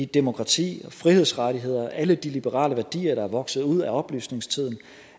demokrati frihedsrettigheder og alle de liberale værdier der er vokset ud af oplysningstiden